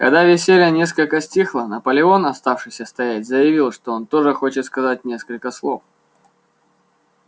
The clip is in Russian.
когда веселье несколько стихло наполеон оставшийся стоять заявил что он тоже хочет сказать несколько слов